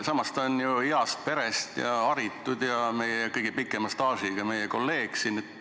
Samas on ta ju heast perest ja haritud ning meie kõige pikema staažiga kolleeg siin.